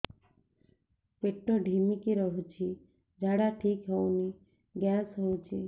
ପେଟ ଢିମିକି ରହୁଛି ଝାଡା ଠିକ୍ ହଉନି ଗ୍ୟାସ ହଉଚି